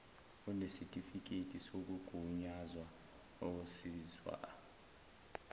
onesitifiketi sokugunyazwa ozizwa